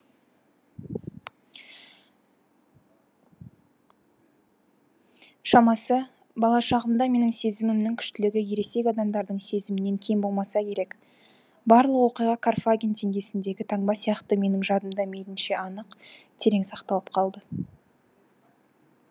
шамасы бала шағымда менің сезімімнің күштілігі ересек адамдардың сезімінен кем болмаса керек барлық оқиға карфаген теңгесіндегі таңба сияқты менің жадымда мейлінше анық терең сақталып қалды